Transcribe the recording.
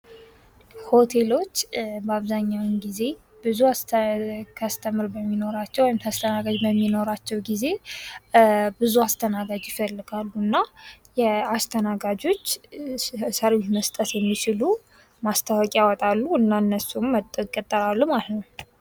ሆቴሎች በአብዛኛው ጊዜ ብዙ ከስተመር በሚኖራቸው ወይም ተስተናጋጅ በሚኖራቸው ጊዜ ብዙ አስተናጋጅ ይፈልጋሉ እና የአስተናጋጆች ሰርቢስ መስጠት የሚችሉ ማስታወቂያ አወጣሉ እና እነሱም መጥተው ይቀጠራሉ ማለት ነው።